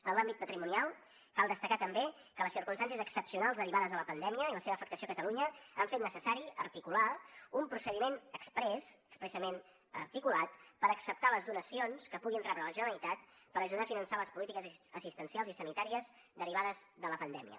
en l’àmbit patrimonial cal destacar també que les circumstàncies excepcionals derivades de la pandèmia i la seva afectació a catalunya han fet necessari articular un procediment exprés expressament articulat per acceptar les donacions que pugui rebre de la generalitat per ajudar a finançar les polítiques assistencials i sanitàries derivades de la pandèmia